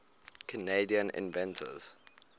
canadian inventors